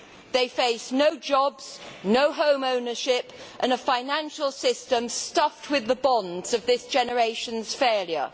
They face no jobs, no home ownership, and a financial system stuffed with the bonds of this generation's failure.